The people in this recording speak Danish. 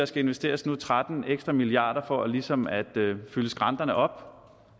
skal investeres tretten ekstra milliarder for ligesom at fylde skrænterne op